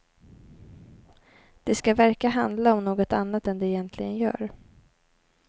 Det ska verka handla om något annat än det egentligen gör.